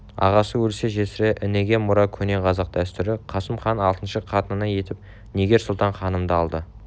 ағасы өлсе жесірі ініге мұра көне қазақ дәстүрі қасым хан алтыншы қатыны етіп нигер-сұлтан ханымды алды